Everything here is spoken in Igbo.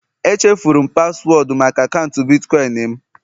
Echefuru m paswọọdụ maka akaụntụ Bitcoin m